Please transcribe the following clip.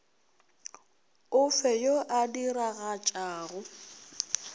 o fe yo a diragatšago